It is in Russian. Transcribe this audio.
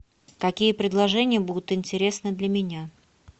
какие предложения будут интересны для меня